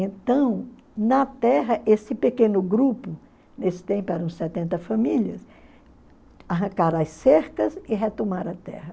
Então, na terra, esse pequeno grupo, nesse tempo eram setenta famílias, arrancaram as cercas e retomaram a terra.